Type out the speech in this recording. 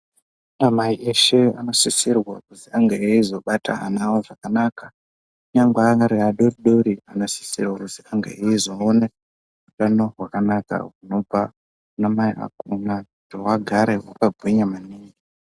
Anamai eshe anosisirwa kuti ange eizobata ana avo zvakanaka kunyangwe ari adoodori anosisirwa kuti ange eizoona utano hwakanaka hunobva kunamai akona kuti agare akagwinya maningi.